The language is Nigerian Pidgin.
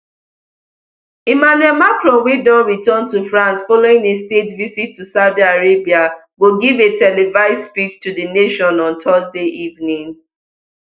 emmanuel macron wey don return to france following a state visit to saudi arabia go give a televised speech to di nation on thursday evening